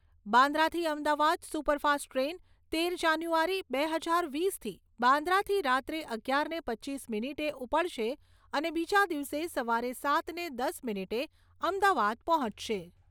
બાંદ્રાથી Ahmedabad superfast train તેર જાન્યુઆરી બે હજાર વીસથી બાંદ્રાથી રાત્રે અગિયારને પચીસ મિનિટે ઉપડશે અને બીજા દિવસે સવારે સાતને દસ મિનિટે અમદાવાદ પહોંચશે.